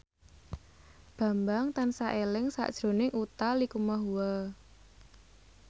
Bambang tansah eling sakjroning Utha Likumahua